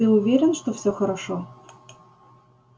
ты уверен что все хорошо